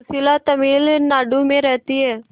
सुशीला तमिलनाडु में रहती है